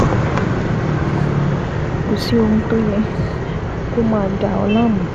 Kò sí ohun tó yẹ kó máa dà ọ́ láàmú